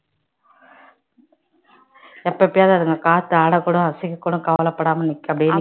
எப்பப்பயாவது அதுங்க காத்து ஆடக்கூடும் அசைக்கக்கூடும் கவலைப்படாம நிக்கும் அப்படியே